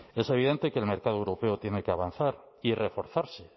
es evidente que el mercado europeo tiene que avanzar y reforzarse